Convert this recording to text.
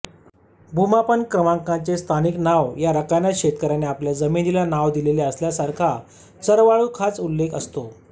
भूमापन क्रमांकाचे स्थानिक नाव या रकान्यात शेतकऱ्याने आपल्या जमिनीला नाव दिलेले असल्यासखाचरवाळूखाच उल्लेख असतो